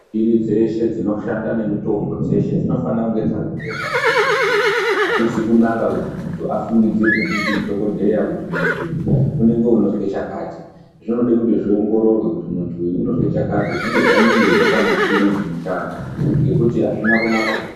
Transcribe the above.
Michini dzeshe dzinoshanda nemitombo dzinofana kunge dzakatengwa muzvibhedhlera azvizi kunaka kuti muntu afungidzirwe ndidhokodheya kuti muntu uyu unonge unozwe chakati zvinode kuti zviongororwe kuti muntu uyu unozwe chakati zvinenge zvaningirwa pamichini dzinoshanda nekuti azvina kunaka zvirozvo.